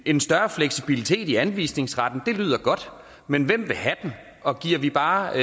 en større fleksibilitet i anvisningsretten lyder godt men hvem vil have den og giver det bare